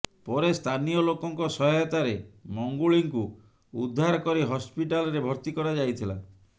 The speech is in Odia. ପରେ ସ୍ଥାନୀୟ ଲୋକଙ୍କ ସହାୟତାରେ ମଙ୍ଗୁଳିଙ୍କୁ ଉଦ୍ଧାର କରି ହସ୍ପିଟାଲ୍ରେ ଭର୍ତ୍ତି କରାଯାଇଥିଲା